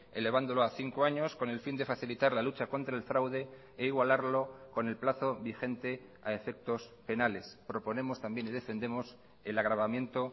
elevándolo a cinco años con el fin de facilitar la lucha contra el fraude e igualarlo con el plazo vigente a efectos penales proponemos también y defendemos el agravamiento